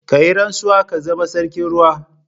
Ka yi rantsuwa ka zama sarkin ruwa.